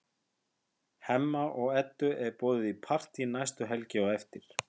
Hemma og Eddu er boðið í partí næstu helgi á eftir.